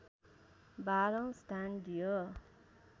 बाह्रौँ स्थान दियो